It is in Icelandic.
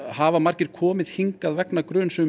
hafa margir komið hingað vegna gruns um